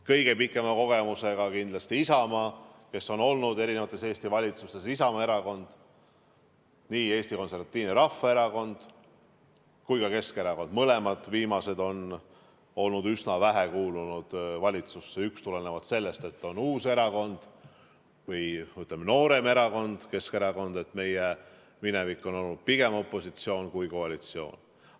Kõige pikema kogemusega on kindlasti Isamaa Erakond, kes on olnud Eesti eri valitsustes, nii Eesti Konservatiivne Rahvaerakond kui ka Keskerakond on üsna vähe kuulunud valitsusse, üks tulenevalt sellest, et ta on uus erakond või, ütleme, noorem erakond, Keskerakonna minevik aga on olnud pigem opositsioon kui koalitsioon.